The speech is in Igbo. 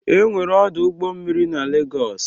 Enwere ọdụ ụgbọ mmiri na Legọọsụ.